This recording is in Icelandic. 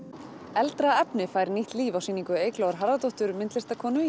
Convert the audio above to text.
eldra efni fær nýtt líf á sýningu Eyglóar Harðardóttur myndlistarkonu